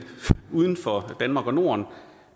uden for danmark og norden